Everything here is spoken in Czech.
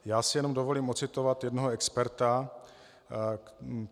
Já si jenom dovolím ocitovat jednoho experta.